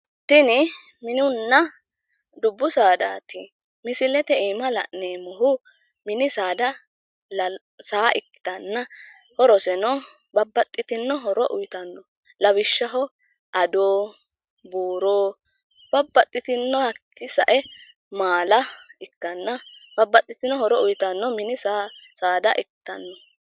Tinni mininna dubbu saadaati misilet iima la'neemohu mini saada saa ikkitanna horoseno babbaxxitino horo uyitano lawishshaho ado, buuro babbaxitino hakii sae maala ikanna babbaxitino horo uyitano mini saada ikkitanno.